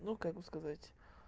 ну как бы сказать